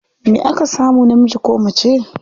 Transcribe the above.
Me aka samu, namiji ko mace?